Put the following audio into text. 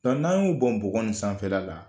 Dɔnku n'an y'o bɔn bɔgɔni sanfɛla la